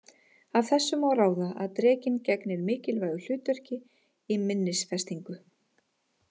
Af þessu má ráða að drekinn gegnir mikilvægu hlutverki í minnisfestingu.